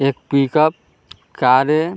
एक pickup car है ।